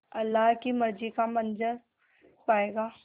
अल्लाह की मर्ज़ी का मंज़र पायेगा